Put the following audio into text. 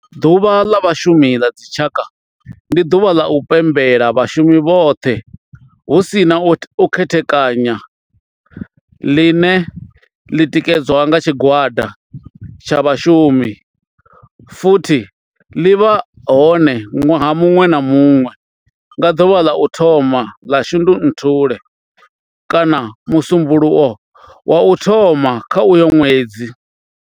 Ḓuvha la Vhashumi ḽa dzi tshaka, ndi duvha ḽa u pembela vhashumi vhothe hu si na u khethekanya ḽine ḽi tikedzwa nga tshigwada tsha vhashumi futhi ḽi vha hone nwaha munwe na munwe nga duvha ḽa u thoma 1 ḽa Shundunthule kana musumbulowo wa u thoma kha uyo nwedzi.